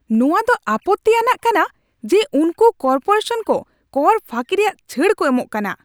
ᱱᱚᱣᱟ ᱫᱚ ᱟᱯᱚᱛᱛᱤ ᱟᱱᱟᱜ ᱠᱟᱱᱟ ᱡᱮ ᱩᱱᱠᱩ ᱠᱚᱨᱯᱳᱨᱮᱥᱚᱱ ᱠᱚ ᱠᱚᱨ ᱯᱷᱟᱹᱠᱤ ᱨᱮᱭᱟᱜ ᱪᱷᱟᱹᱲ ᱠᱚ ᱮᱢᱚᱜ ᱠᱟᱱᱟ ᱾